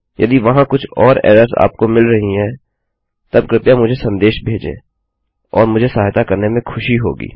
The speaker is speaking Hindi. यदि वहाँ कुछ और एरर्सआपको मिल रही हैं तब कृपया मुझे सन्देश भेजें और मुझे सहायता करने में खुशी होगी